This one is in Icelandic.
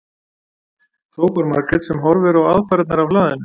hrópar Margrét sem horfir á aðfarirnar af hlaðinu.